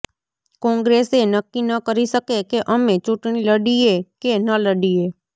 કોંગ્રેસ એ નક્કી ન કરી શકે કે અમે ચૂંટણી લડીએ કે ન લડીએ